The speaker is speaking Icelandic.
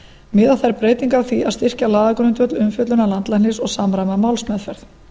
miða þær breytingar að því að styrkja lagagrundvöll umfjöllunar landlæknis og samræma málsmeðferð